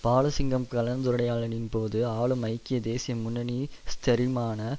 பாலசிங்கம் கலந்துரையாடலின் போது ஆளும் ஐக்கிய தேசிய முன்னணி ஸ்திரமான